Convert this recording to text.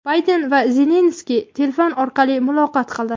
Bayden va Zelenskiy telefon orqali muloqot qildi.